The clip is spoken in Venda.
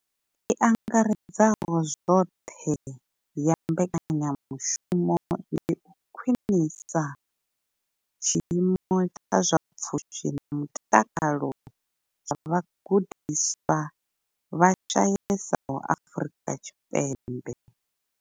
I angaredzaho zwoṱhe ya mbekanyamushumo ndi u khwinisa tshiimo tsha zwa pfushi na mutakalo zwa vhagudiswa vha shayesaho Afrika Tshipembe.